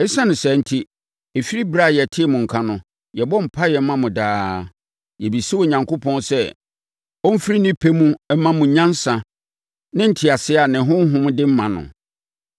Esiane saa enti, ɛfiri ɛberɛ a yɛtee mo nka no, yɛbɔ mpaeɛ ma mo daa. Yɛbisa Onyankopɔn sɛ ɔmfiri ne pɛ mu mma mo nyansa ne nteaseɛ a ne Honhom de ma no.